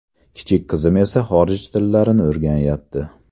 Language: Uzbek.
Kichik qizim esa xorij tillarini o‘rganayapti.